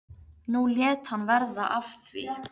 Nú lét hann verða af því.